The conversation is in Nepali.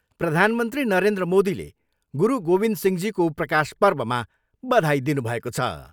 प्रधानमन्त्री नरेन्द्र मोदीले गुरु गोविन्द सिंहजीको प्रकाश पर्वमा बधाई दिनुभएको छ।